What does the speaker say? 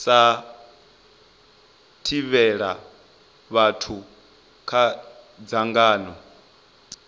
sa thivhela vhathu kha dzangano